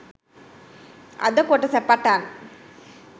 අද කොටස පටන්